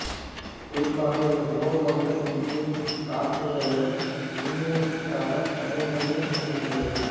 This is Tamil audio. குறிப்பாக இவர் ஓ வகை விண்மீன் காற்றுகளிலும் விண்மீனாக்கத் திறமையிலும் குவிந்துள்ளது